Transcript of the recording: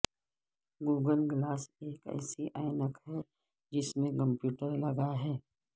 Google glass ایک ایسی عینک ہے جس میں کمپیوٹر لگا ہے